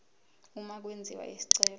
uma kwenziwa isicelo